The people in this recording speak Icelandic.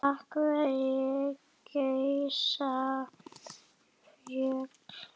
Af hverju gjósa fjöll?